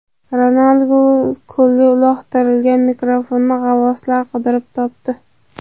Ronaldu ko‘lga uloqtirgan mikrofonni g‘avvoslar qidirib topdi.